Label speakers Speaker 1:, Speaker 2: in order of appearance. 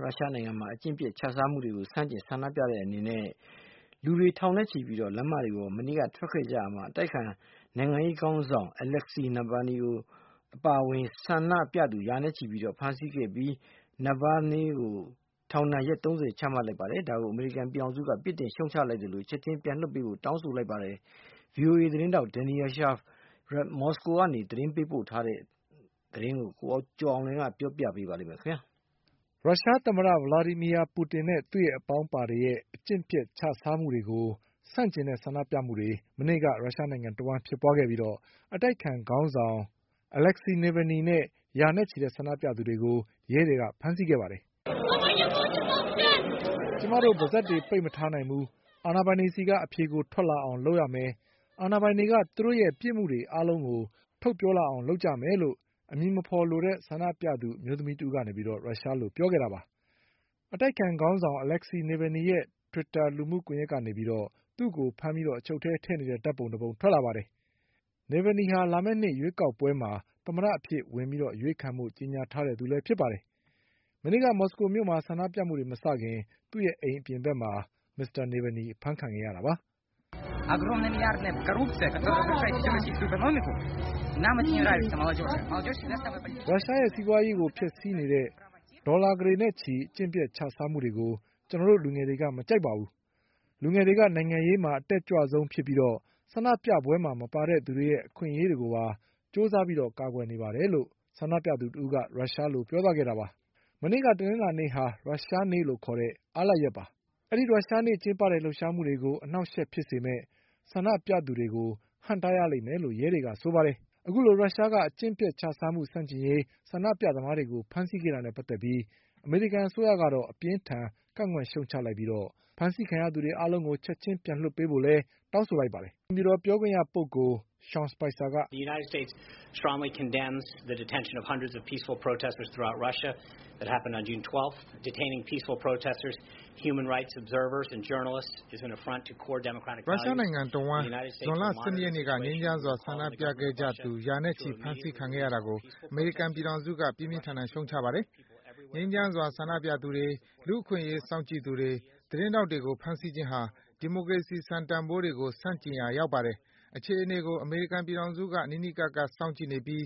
Speaker 1: ရုရှားနိုင်ငံမှာ အကျင့်ပျက်ခြစားမှုတွေကို ဆန့်ကျင်ဆန္ဒပြတဲ့အနေနဲ့လူအင်အား ထောင်နဲ့ချီပြီး လမ်းမတွေပေါ် မနေ့ကထွက်ခဲ့ ကြပါတယ်။ ဒီကိစ္စနဲ့ဆက်စပ်ပြီး အတိုက်အခံနိုင်ငံရေး ခေါင်းဆောင် Alexei Navalny အပါအဝင် ဆန္ဒပြသူ ရာနဲ့ချီ အဖမ်းခံခဲ့ကြရပြီး ခွင့်ပြုချက်မရပဲဆန္ဒပြမှုနဲ့ မစ္စတာ Navalny ကို ထောင်ရက် ၃၀ ချလိုက်ပါတယ်။ အခုလိုဖမ်းဆီးမှုကို အမေရိကန်ပြည်ထောင်စုက အပြစ်တင်ရှုတ်ချလိုက်ပါတယ်။ ဒီအကြောင်း ဗီအိုအေ သတင်းထောက် Daniel Schearf ရုရှားနိုင်ငံမြို့တော် မော်စကိုကပေးပို့တဲ့ သတင်းကို ကိုကျော်အောင်လွင်က ပြောပြပေးပါမယ်။ ရုရှားသ
Speaker 2: မ္မတ Vladimir Putin နဲ့သူ့အပေါင်းအပါတွေရဲ့အကျင့်ပျက်ခြစားမှုတွေကို ဆန့်ကျင်တဲ့ဆန္ဒပြမှုတွေ မနေ့က ရုရှားနိုင်ငံတဝှမ်းဖြစ်ပွါးခဲ့ပြီး အတိုက်အခံခေါင်းဆောင် Alexei Navalny နဲ့ ရာနဲ့ချီတဲ့ဆန္ဒသူတွေကို ရုရှားရဲတွေက ဖမ်းဆီးခဲ့ပါတယ်
Speaker 1: ။ "ကျမတို
Speaker 2: ့ ပါးစပ်ပိတ်ပြီးမနေနိုင်ဘူး။ အာဏာပိုင်တွေဆီက အဖြေကိုထွက်လာအောင်လုပ်မယ်။ အာဏာပိုင်တွေက သူတို့ရဲ့ပြစ်မှုတွေအားလုံးကို ထုတ်ပြောလာအောင် ကျနော်တို့လုပ်ကြမယ်" လို့ အမည်မဖေါ်လိုတဲ့ဆန္ဒပြသူ အမျိုးသမီးတဦး က ရုရှားလိုပြောခဲ့တာပါ။ အတိုက်အခံခေါင်းဆောင် Alexei Navalny ရဲ့ တွစ်တာ လူမှုကွန်ယက်ကနေ သူ့ကိုဖမ်းပြီးအချုပ်ထဲထည့်နေတဲ့ဓါတ်ပုံ တပုံထွက်လာပါတယ်။ Alexei Navalnyဟာ လာမယ့်နှစ်ရွေးကောက်ပွဲမှာ သမ္မတအဖြစ်ဝင်အရွေးခံဖို့ကြေညာထားတဲ့ သူပါ။ မနေ့က မော်စကိုမြို့မှာ ဆန္ဒပြမှုတွေမစခင် သူ့ရဲ့အိမ်အပြင်ဖက်မှာ မစ္စတာ Navalny အဖမ်းခံခဲ့ရတာပါ။ "ရုရှားရဲ့စီးပွါးရေးကိုဖျက်ဆီးနေတဲ့ ဒေါ်လာကုဋေနဲ့ချီအကျင့်ပျက်ခြစားမှုတွေကို ကျနော်တို့လူငယ်တွေက မကြိုက်ပါ ဘူး။ လူငယ်တွေက နိုင်ငံရေးမှာ အတက်ကြွဆုံးဖြစ်ပြီးတော့ ဆန္ဒပြပွဲမှာ မပါတဲ့လူတွေရဲ့အခွင့်အရေးတွေကိုပါကြိုးစားပြီး ကာကွယ်နေပါတယ်” လို့ဆန္ဒပြသူတဦးက ရုရှားလို ပြောသွားခဲ့တာပါ။ မနေ့က တနင်္လာနေ့ဟာ ရုရှားနေ့လို့ခေါ်တဲ့ အားလပ်ရက်ပါ။ ဒီရုရှားနေ့ကျင်းပတဲ့လှုပ်ရှားမှုတွေကို အနှောက်အယှက် ဖြစ်စေမဲ့ ဆန္ဒပြသူတွေကို ဟန့်တားရလိမ့်မယ်လို့ရဲတွေက ပြောပါတယ်။ အခုလိုရုရှားက အကျင့်ပျက်ခြားစားမှုဆန့်ကျင်ရေး ဆန္ဒပြသမားတွေကိုဖမ်းဆီးခဲ့တာနဲ့ပါတ်သက်ပြီး အမေရိကန်အစိုးရ ကတော့ အပြင်းအထန် ကန့်ကွက်ရှုတ်ချလိုက်ပြီးဖမ်းဆီးခံရသူအားလုံးကို ချက်ချင်းပြန်လွှတ်ပေးဖို့လည်း တောင်းဆိုလိုက်ပါတယ်။ "ရုရှ
Speaker 1: ားနိုင်ငံတဝှမ်းဇွန်လ၁၂
Speaker 3: ရက်နေ့က ြငိမ်းချမ်းစွာဆန္ဒပြခဲ့ကြသူ ရာနဲ့ချီပြီးဖမ်းဆီးခံခဲ့ရတာကို အမေရိကန်ပြည်ထောင်စုက ပြင်းပြင်းထန်ထန်ရှုပ်ချပါတယ်။ငြိမ်းချမ်းစွာဆန္ဒပြသူတွေ၊ လူ့အခွင့်အရေးစောင့်ကြည့်သူတွေ၊ သတင်းထောက်တွေကို ဖမ်းဆီးခြင်းဟာ ဒီမိုကရေစီစံတန်ဘိုးတွေကို ဆန့်ကျင်ရာရောက်ပါတယ်။ အခြေအနေတွေကို အမေရိကန်ပြည်ထောင်စုက နီးနီးကပ်ကပ်စောင့်ကြည့်နေပြီး